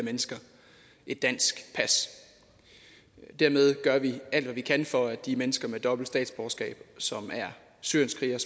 mennesker et dansk pas dermed gør vi alt hvad vi kan for at de mennesker med dobbelt statsborgerskab som er syrienskrigere